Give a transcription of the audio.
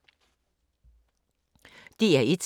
DR1